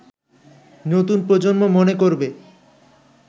নতুন প্রজন্ম মনে করবে